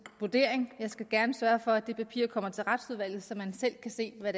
vurdering jeg skal gerne sørge for at det papir kommer til retsudvalget så man selv kan se hvad